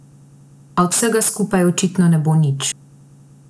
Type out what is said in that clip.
A od vsega skupaj očitno ne bo nič.